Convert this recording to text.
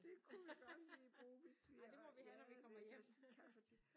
Det kunne vi godt lige bruge ja hvis der skal være kaffe og te